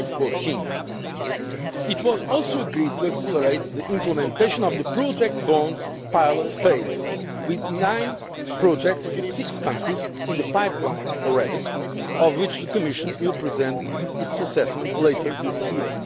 January 2014. It was also agreed to accelerate the implementation of the project bonds pilot phase, with nine projects in six countries in the pipeline already, of which the Commission will present its assessment later this